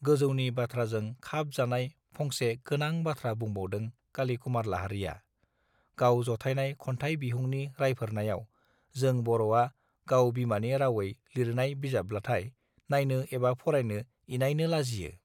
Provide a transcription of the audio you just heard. गोजौनि बाथ्राजों खाब जानाय फंसे गोनां बाथ्रा बुंबावदों काली कुमार लाहारीया गाव जथायनाय खन्थाइ बिहुंनि राइफोरनायाव जों बर आ गाव बिमानि रावै लिरनाय बिजाबब्लथाय नायनो एबा फरायनो इनायनो लाजियो